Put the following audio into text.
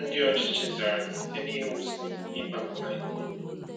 Ndị ọchịchị zara site n’iwusi ịkpagbu ha ike.